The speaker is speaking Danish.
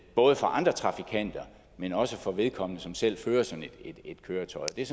både for andre trafikanter men også for vedkommende selv som fører sådan et køretøj det er